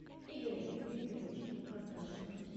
игорем викторовичем кондрашиным